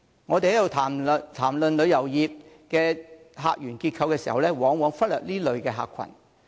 我們在談論旅遊業的客源結構時，往往忽略這類客群。